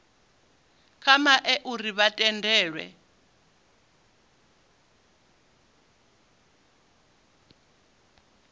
kha mec uri vha tendelwe